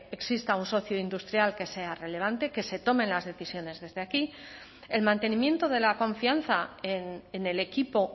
exista un socio industrial que sea relevante que se tomen las decisiones desde aquí el mantenimiento de la confianza en el equipo